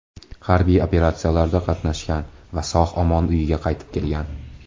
Harbiy operatsiyalarda qatnashgan va sog‘-omon uyiga qaytib kelgan.